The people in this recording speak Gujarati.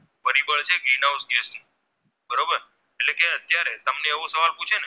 તમને એવો સવાલ પૂછે ને